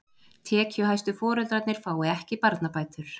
Tekjuhæstu foreldrarnir fái ekki barnabætur